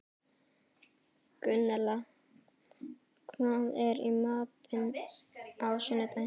Gunnella, hvað er í matinn á sunnudaginn?